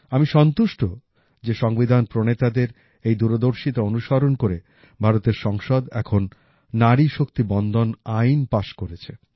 আমি সন্তুষ্ট যে সংবিধান প্রণেতাদের এই দূরদর্শিতা অনুসরণ করে ভারতের সংসদ এখন নারী শক্তি বন্দন আইন পাস করেছে